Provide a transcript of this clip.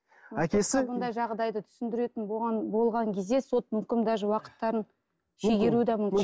әкесі мұндай жағдайды түсіндіретін болған кезде соттың үкімі даже уақыттарын шегеруі де мүмкін